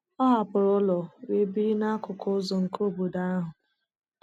Ọ hapụrụ ụlọ wee biri n’akụkụ ọzọ nke obodo ahụ.